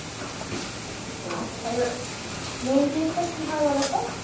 আচ্ছা এইবার main জিনিসটা কি হয় বলোতো?